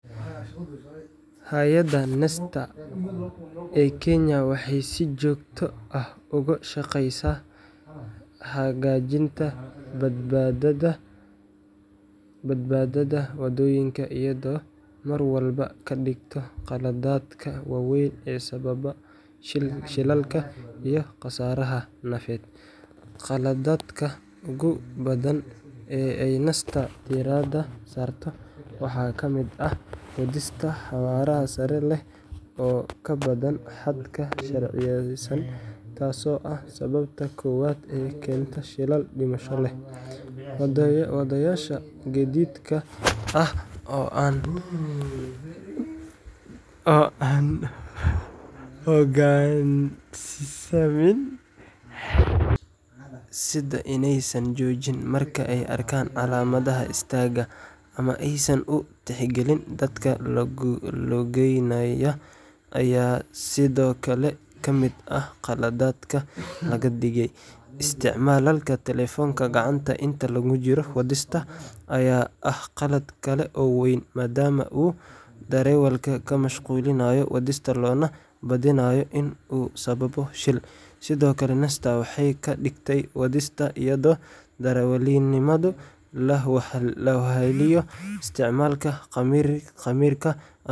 Hay’adda NTSA National Transport and Safety Authority ee Kenya waxay si joogto ah uga shaqeysaa hagaajinta badbaadada waddooyinka iyadoo marwalba ka digta qaladaadka waaweyn ee sababa shilalka iyo khasaaraha nafeed. Qaladaadka ugu badan ee ay NTSAda diiradda saarto waxaa ka mid ah wadista xawaare sare leh oo ka badan xadka sharciyeysan, taasoo ah sababta koowaad ee keenta shilal dhimasho leh. Wadayaasha gaadiidka oo aan u hoggaansamin xeerarka waddooyinka, sida inaysan joojin marka ay arkaan calaamadaha istaagga ama aysan u tixgelin dadka lugeynaya, ayaa sidoo kale kamid ah khaladaadka laga digay. Isticmaalka taleefanka gacanta inta lagu jiro wadista ayaa ah qalad kale oo weyn, maadaama uu darawalka ka mashquulinayo wadista loona badinayo in uu sababo shil. Sidoo kale, NTSAda waxay ka digtaa wadista iyadoo darawalnimadu la weheliyo isticmaalka khimriga.